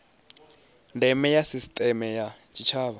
ndeme ya sisiteme ya tshitshavha